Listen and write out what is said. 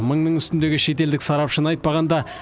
мыңның үстіндегі шетелдік сарапшыны айтпағанда